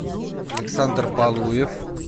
александр балуев